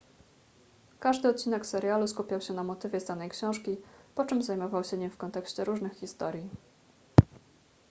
każdy odcinek serialu skupiał się na motywie z danej książki po czym zajmował się nim w kontekście różnych historii